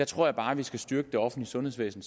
tror jeg bare vi skal styrke det offentlige sundhedsvæsen